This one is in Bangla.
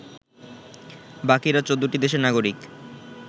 বাকিরা ১৪টি দেশের নাগরিক